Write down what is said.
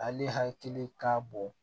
Ale hakili ka bon